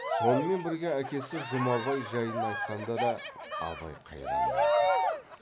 сонымен бірге әкесі жұмабай жайын айтқанда да абай қайран болды